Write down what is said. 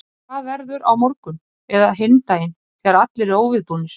En hvað verður á morgun eða hinn daginn þegar allir eru óviðbúnir?